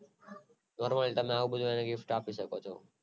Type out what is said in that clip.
બરોબર તમે આ બધું તમે gift આપી શકો છો